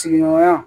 Sigiɲɔgɔnya